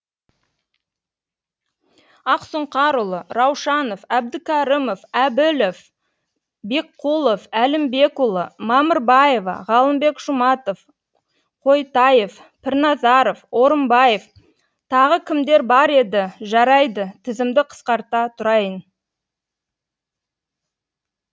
ақсұңқарұлы раушанов әбдікәрімов әбілов бекқұлов әлімбекұлы мамырбаева ғалымбек жұматов қойтаев пірназаров орынбаев тағы кімдер бар еді жарайды тізімді қысқарта тұрайын